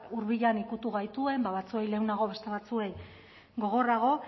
hurbilean ikutu gaituen batzuei lehenago beste batzuei gogorrago